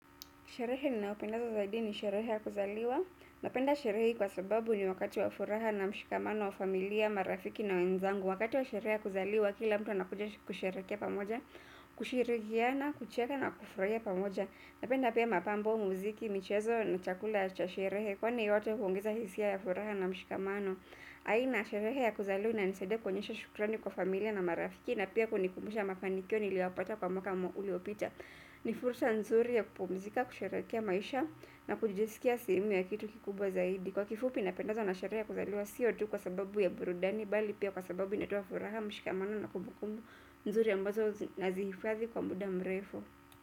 Sherehe ninayopenda zaidi ni sherehe ya kuzaliwa. Napenda sherehe hii kwa sababu ni wakati wa furaha na mshikamano wa familia, marafiki na wenzangu. Wakati wa sherehe ya kuzaliwa kila mtu na kusherekea pamoja, kushirikiana, kucheka na kufurahia pamoja. Napenda pia mapambo, muziki, michezo na chakula cha sherehe. Kwa ni yote kuongeza hisia ya furaha na mshikamano. Aina sherehe ya kuzaliwa inanisaidia kuonyesha shukrani kwa familia na marafiki na pia kunikumbusha mafanikio niliyo yapata kwa mwaka uliopita. Ni fursa nzuri ya kupumzika, kusherekea maisha na kujizikia sehemu ya kitu kikubwa zaidi. Kwa kifupi napendezwa na sherehe kuzaliwa siyo tu kwa sababu ya burudani. Bali pia kwa sababu inatoa furaha mshikamano na kumbukumbu nzuri ya mbazo na zihifadhi kwa muda mrefu.